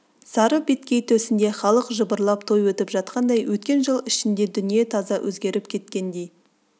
сары беткей төсінде халық жыбырлап той өтіп жатқандай өткен жыл ішінде дүние таза өзгеріп кеткендей